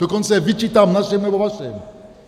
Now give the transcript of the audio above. Dokonce je vyčítám našim nebo vašim.